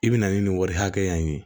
I bi na ni nin wari hakɛya in ye